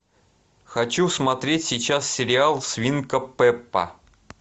хочу смотреть сейчас сериал свинка пеппа